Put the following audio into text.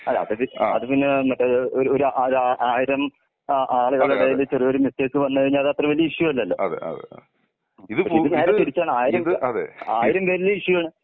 അല്ല അതുപിന്നെ വന്നിട്ട് ഒരു ഒരു ആയിരം ആ ആളുകളുടെ ഇടയില്‍ ചെറിയ മിസ്റ്റേക്ക് വന്ന അത് അത്ര വലിയ ഇഷ്യൂ അല്ലലോ? പക്ഷെ ഇത് നേരെ തിരിച്ചാണ്. ആയിരം പേരുടെ ഇഷ്യൂ ആണ്.